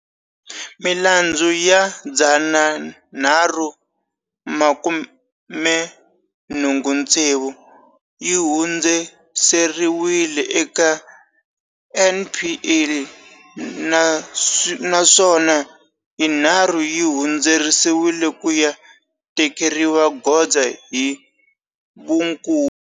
Milandzu ya 386 yi hundziseriwile eka NPA, naswona yinharhu yi hundziseriwile ku ya tekeriwa goza hi vunkulu.